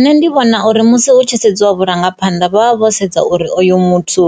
Nṋe ndi vhona u nga hu tshi sedziwa vhurangaphanḓa hu vha ho sedziwa uri oyu muthu